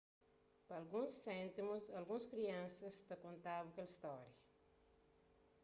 pa alguns séntimus alguns kriansas ta konta-bu kel stória